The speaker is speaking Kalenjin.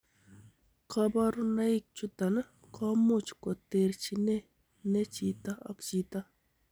Koborunoik chuton komuch koterchine ne chito ak chito.